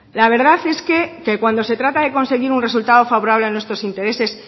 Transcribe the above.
la verdad es que cuando se trata de conseguir un resultado favorable a nuestros intereses